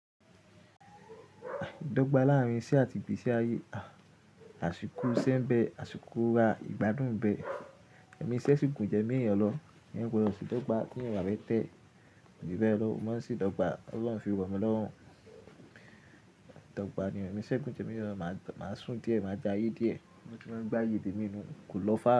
Ìdọ́gba láàárín iṣẹ́ àti igbési àyè àṣìkò isẹ́ ń bẹ̀, àṣìkò ìgbádùn bẹ̀. Ẹ̀mi iṣẹ́ sì gùn jẹ mí yan lọ, èèyàn gbodo se ìdọ́gba bí èèyàn ò bá fẹ́tẹ̀, jù bẹ́ẹ̀ lọ, mo má se ìdọ́gba, Ọlọ́run fi rọ̀ mí lọ́rùn. Ìdọ́gba nìyẹn, èmi iṣẹ́ gùn ju èmí yan lọ, màá sùn díẹ̀, màá ja ye díẹ̀, bí mo ti máa gbé àyè temí nu. Ko lọfà.